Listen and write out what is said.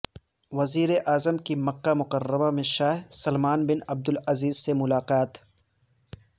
وزیراعظم کی مکہ مکرمہ میں شاہ سلمان بن عبدالعزیز سے ملاقات